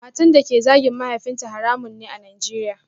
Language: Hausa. Matan da ke zagin mahaifinta haramun ne a Najeriya